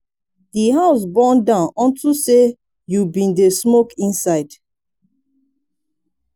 the house burn down unto say you bin dey smoke inside.